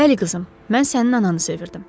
Bəli qızım, mən sənin ananı sevirdim.